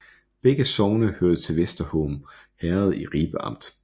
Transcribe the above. Begge sogne hørte til Vester Horne Herred i Ribe Amt